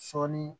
Sɔɔni